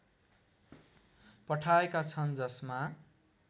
पठाएका छन् जसमा